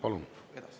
Palun!